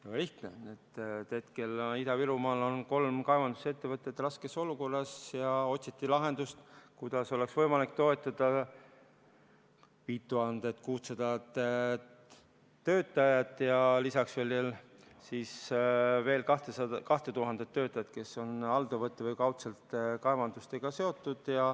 Väga lihtne: hetkel on Ida-Virumaal kolm kaevandusettevõtet raskes olukorras ja otsiti lahendust, kuidas oleks võimalik toetada 5600 töötajat ja lisaks veel 2000 töötajat, kes on alltöövõtjaga või kaudselt kaevandustega seotud.